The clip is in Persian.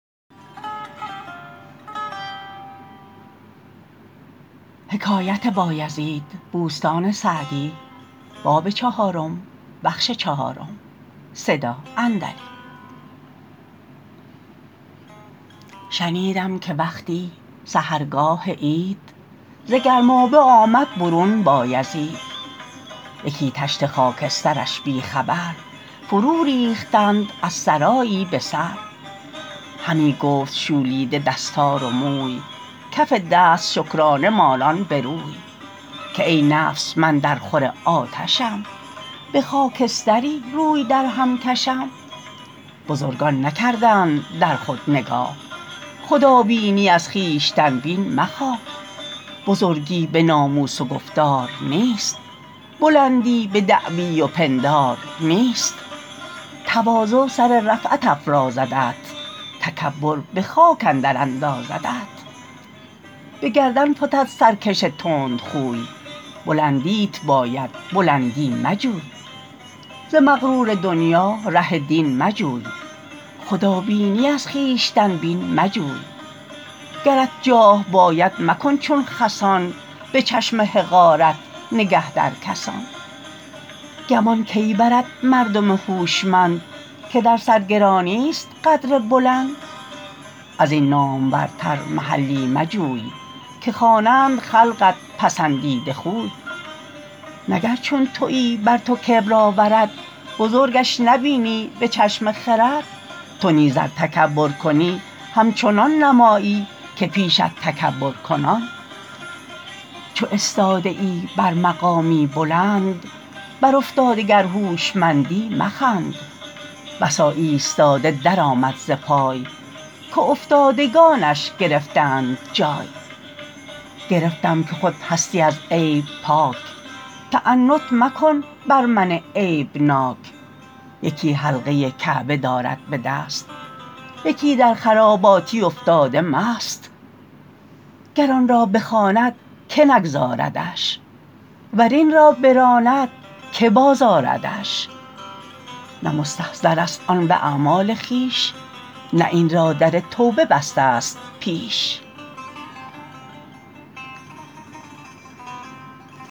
شنیدم که وقتی سحرگاه عید ز گرمابه آمد برون بایزید یکی تشت خاکسترش بی خبر فرو ریختند از سرایی به سر همی گفت شولیده دستار و موی کف دست شکرانه مالان به روی که ای نفس من در خور آتشم به خاکستری روی در هم کشم بزرگان نکردند در خود نگاه خدابینی از خویشتن بین مخواه بزرگی به ناموس و گفتار نیست بلندی به دعوی و پندار نیست تواضع سر رفعت افرازدت تکبر به خاک اندر اندازدت به گردن فتد سرکش تند خوی بلندیت باید بلندی مجوی ز مغرور دنیا ره دین مجوی خدابینی از خویشتن بین مجوی گرت جاه باید مکن چون خسان به چشم حقارت نگه در کسان گمان کی برد مردم هوشمند که در سرگرانی است قدر بلند از این نامورتر محلی مجوی که خوانند خلقت پسندیده خوی نه گر چون تویی بر تو کبر آورد بزرگش نبینی به چشم خرد تو نیز ار تکبر کنی همچنان نمایی که پیشت تکبر کنان چو استاده ای بر مقامی بلند بر افتاده گر هوشمندی مخند بسا ایستاده در آمد ز پای که افتادگانش گرفتند جای گرفتم که خود هستی از عیب پاک تعنت مکن بر من عیب ناک یکی حلقه کعبه دارد به دست یکی در خراباتی افتاده مست گر آن را بخواند که نگذاردش ور این را براند که باز آردش نه مستظهر است آن به اعمال خویش نه این را در توبه بسته ست پیش